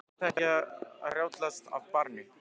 Hlaut þetta ekki að rjátlast af barninu?